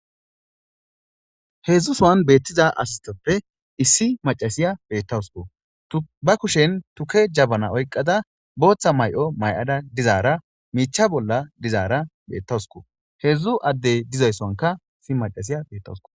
Heedzdzu suwan beettiza asistoppe issi macasiya beettawusko ba kushen tuke jabana oyqqada booththa may'o may7ada dizaara miicha bolla dizaara beettawusko heedzdzu addey dizayssonka issi macasiya beettawusko